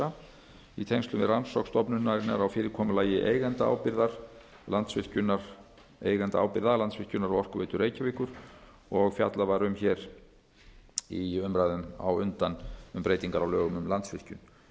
efta í tengslum við rannsókn stofnunarinnar á fyrirkomulagi eigendaábyrgða landsvirkjunar og orkuveitu reykjavíkur og fjallað var um í umræðum á undan um breytingar á lögum um